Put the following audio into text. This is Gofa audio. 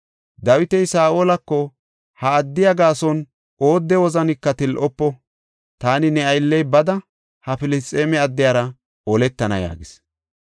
Dawiti Saa7olako, “Ha addiya gaason oodde wozanika til7ofo; taani ne aylley bada, ha Filisxeeme addiyara oletana” yaagis.